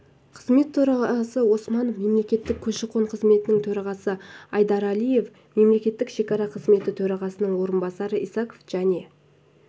қызмет төрағасы осмонов мемлекеттік көші-қон қызметінің төрағасы айдаралиев мемлекеттік шекара қызметі төрағасының орынбасары исаков және